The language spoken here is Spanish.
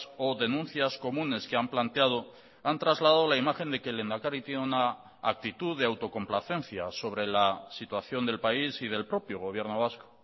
o denuncias comunes que han planteado han trasladado la imagen de que el lehendakari tiene una actitud de autocomplacencia sobre la situación del país y del propio gobierno vasco